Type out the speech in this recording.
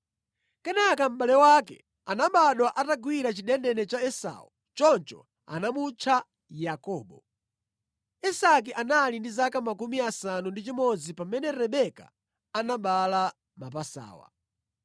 Kenaka mʼbale wake anabadwa atagwira chidendene cha Esau; choncho anamutcha Yakobo. Isake anali ndi zaka 60 pamene Rebeka anabereka mapasawa.